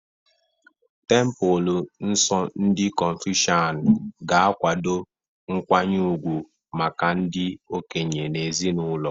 Templelọ nsọ ndị Confucian ga-akwado nkwanye ugwu maka ndị okenye na ezinụlọ.